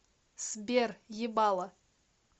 сбер ебало